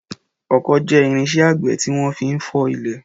Ọkọ́ jẹ́ irinṣẹ́ àgbẹ̀ tí wọ́n fi ń fọ́ ilẹ̀.